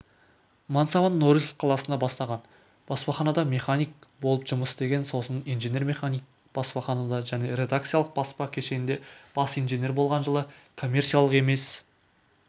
мансабыннорильск қаласында бастаған баспаханада механик болып жұмыс істеген сосын инженер-механик баспаханада және редакциялық-баспа кешенінде бас инженер болған жылы коммерциялық емес автономды